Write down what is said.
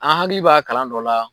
An hakili b'a kalan dɔ la.